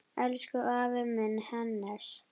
Elsku afi minn, Hannes.